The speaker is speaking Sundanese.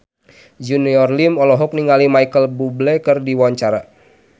Junior Liem olohok ningali Micheal Bubble keur diwawancara